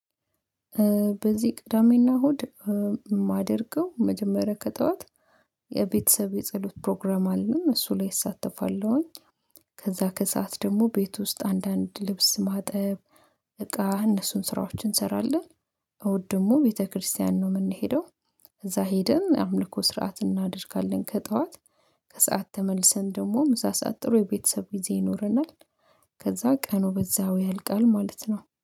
በዚህ ቅዳሜና እሁድ የማደርገው መጀመሪያ ከጠዋት የቤተሰብ የጸሎት ፕሮግራም አለን እሱ ላይ እሳተፋለሁኝ። ከዛ ከሰአት ደግሞ ቤት ውስጥ አንዳንድ ልብስ ማጠብ እቃ እነሱን ስራዎችን እንሰራለን። እሁድ ደግሞ ቤተክርስትያን ነው የምንሄደው። እዛ ሄደን የአምልኮ ስርዓት እናደርጋለን ከጠዋት ከሰአት ተመልሰን ደግሞ ምሳ ሰዓት ጥሩ የቤተሰብ ጊዜ ይኖረናል። ከዛ ቀኑ በዛው ያልቃል ማለት ነው